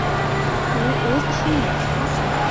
U o‘z ishining ustasi.